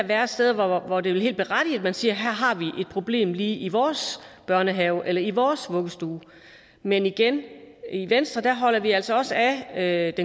være steder hvor det vil være helt berettiget at man siger her har vi et problem lige i vores børnehave eller i vores vuggestue men igen i venstre holder vi altså også af